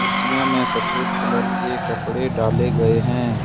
कुर्सियों में सफेद कलर के कपड़े डाले गए हैं।